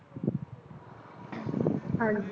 ਹਾਂਜੀ